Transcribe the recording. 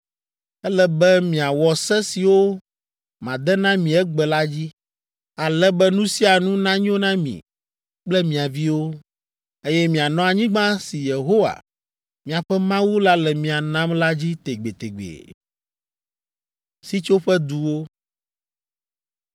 Ele be miawɔ se siwo made na mi egbe la dzi, ale be nu sia nu nanyo na mi kple mia viwo, eye mianɔ anyigba si Yehowa, miaƒe Mawu la le mia nam la dzi tegbetegbe.”